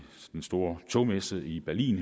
den store togmesse i berlin